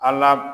An la